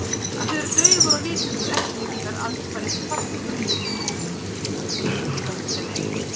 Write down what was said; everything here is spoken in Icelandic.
Að þau eru daufar og litlausar eftirlíkingar andspænis kraftmiklum litum og kynngi þess sem er.